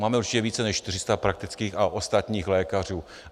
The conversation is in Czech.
Máme určitě více než 400 praktických a ostatních lékařů.